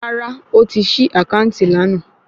Rárá, ó ti ṣí àkáǹtì lánàá